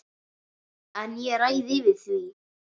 En ég ræð yfir því.